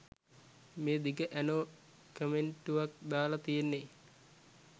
මේ දිග ඇනෝ කමෙන්ටුවක් දාලා තියෙන්නේ